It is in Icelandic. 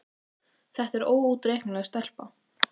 Þetta er óútreiknanleg stelpa.